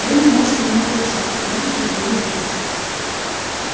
вы не можете мне угрожать а я не признаю лести